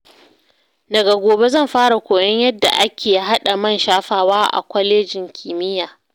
Daga gobe zan fara koyon yadda ake haɗa man shafawa a kwalejin kimiyya.